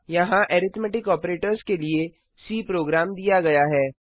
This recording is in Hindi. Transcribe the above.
यहाँ अरिथ्मैटिक ऑपरेटर्स के लिए सी प्रोग्राम दिया गया है